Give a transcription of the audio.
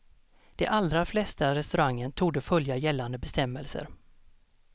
De allra flesta restauranger torde följa gällande bestämmelser.